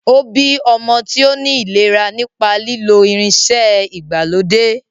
Ó bí ọmọ tí ó ní ìlera nípa lílo irinṣẹ́ ìgbàlódé.